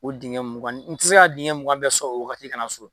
O dingɛ mugan in n tɛ se ka dingɛ mugan bɛɛ sɔrɔ o wagati ka na so